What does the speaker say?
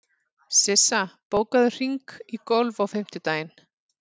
Sissa, bókaðu hring í golf á fimmtudaginn.